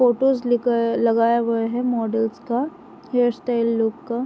photos लगा लगाए गए है मॉडल्स का हेअर स्टाइल लुक का --